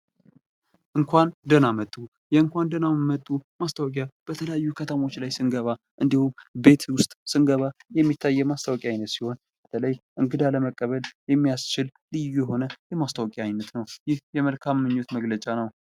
እንኳን ደህና መጡ እንኳን ደህና መጡ ማስታወቂያ በተለያዩ ከተሞች ላይ ስንገባ እንዲሁም ቤት ውስጥ ስንገባ የሚታይ የማስታወቂያ አይነት ሲሆን በተለይ እንግዳ ለመቀበል የሚያስችል ልዩ የሆነ የማስታወቂያ አይነት ነው። ይህ የመልካም ምኞት መግለጫ ነው።